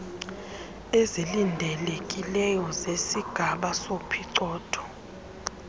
ezilindelekileyo zesigaba sophicotho